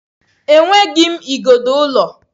Enweghị m igodo ụlọ.